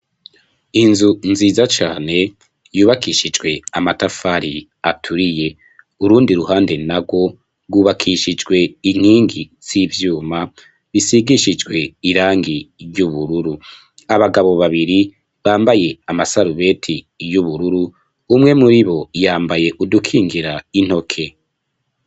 Inzu nziza cane yubakishijwe amatafari aturiye, urundi ruhande narwo rwubakishijwe inkingi zivyuma bisigishijwe irangi ryubururu, abagabo babiri bambaye amasarubeti y'ubururu umwe muribo yambaye udukingira intoke.